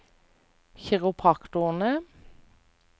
kiropraktorer